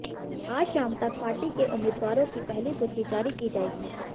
आज शाम तक पार्टी के उम्मीदवारों की पहली सूची जारी की जाएगी